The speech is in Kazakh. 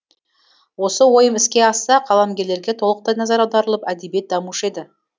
осы ойым іске асса қаламгерлерге толықтай назар аударылып әдебиет дамушы еді